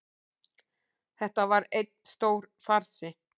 Þetta var einn stór farsi